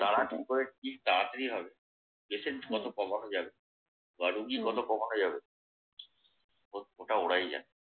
তারা কি করে কি তাড়াতাড়ি হবে patient কত cover হয়ে যাবে বা রুগী কত কমানো যাবে ওটা ওরাই জানে।